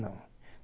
Não.